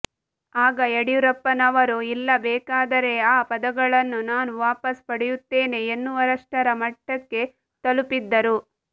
ಆಗ ಯಡಿಯೂರಪ್ಪನವರು ಇಲ್ಲ ಬೇಕಾದರೆ ಆ ಪದಗಳನ್ನು ನಾನು ವಾಪಸ್ ಪಡೆಯುತ್ತೇನೆ ಎನ್ನುವಷ್ಟರ ಮಟ್ಟಕ್ಕೆ ತಲುಪಿದ್ದರು